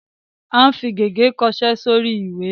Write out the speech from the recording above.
À ń fi gègé kọṣẹ́ sórí ìwé.